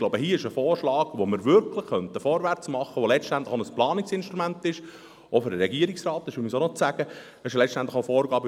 Ich glaube, hier gibt es einen Vorschlag, mit dem wir wirklich vorwärtsmachen können, welcher letztlich auch für den Regierungsrat ein Planungsinstrument wäre.